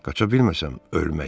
Qaça bilməsəm, ölmək.